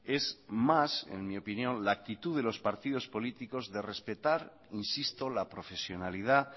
es más en mi opinión la actitud de los partidos políticos de respetar insisto la profesionalidad